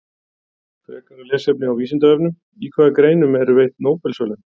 Frekara lesefni á Vísindavefnum: Í hvaða greinum eru veitt Nóbelsverðlaun?